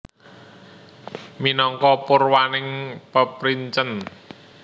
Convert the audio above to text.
Minangka purwaning peprincèn